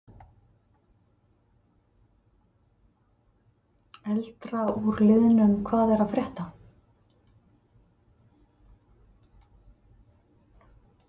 Eldra úr liðnum Hvað er að frétta?